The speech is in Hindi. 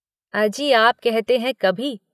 “अजी आप कहते हैं कभी।